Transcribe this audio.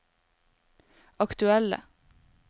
aktuelle